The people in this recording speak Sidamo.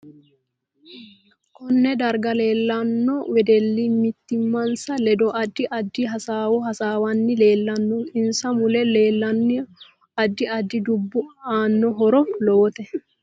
Konne darga leelaoon wedelli mimitinsa ledo addi addi hasaawo hasaawanni leeelano insa mule leelanno addi addi dubbi aano horo lowote